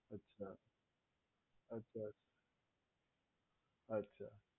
અચ્છા અચ્છા અચ્છા